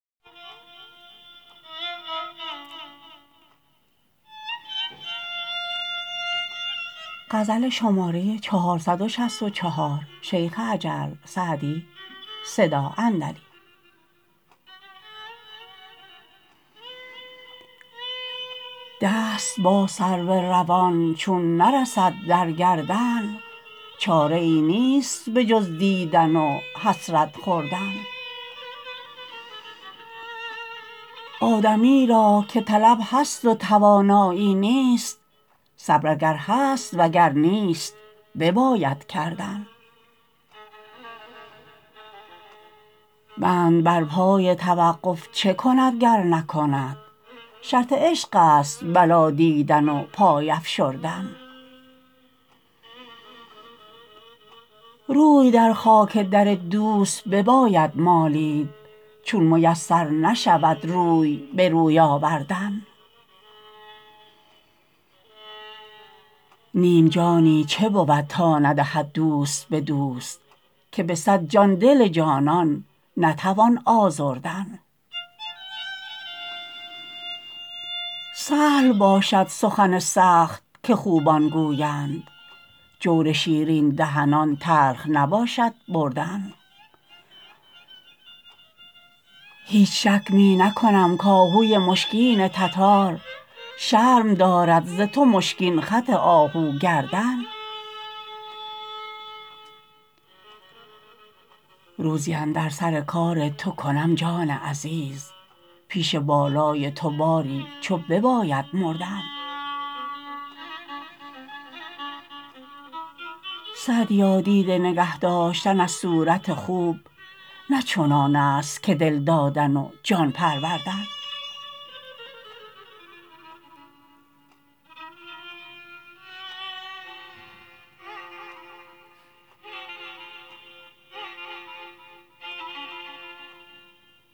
دست با سرو روان چون نرسد در گردن چاره ای نیست به جز دیدن و حسرت خوردن آدمی را که طلب هست و توانایی نیست صبر اگر هست و گر نیست بباید کردن بند بر پای توقف چه کند گر نکند شرط عشق است بلا دیدن و پای افشردن روی در خاک در دوست بباید مالید چون میسر نشود روی به روی آوردن نیم جانی چه بود تا ندهد دوست به دوست که به صد جان دل جانان نتوان آزردن سهل باشد سخن سخت که خوبان گویند جور شیرین دهنان تلخ نباشد بردن هیچ شک می نکنم کآهوی مشکین تتار شرم دارد ز تو مشکین خط آهو گردن روزی اندر سر کار تو کنم جان عزیز پیش بالای تو باری چو بباید مردن سعدیا دیده نگه داشتن از صورت خوب نه چنان است که دل دادن و جان پروردن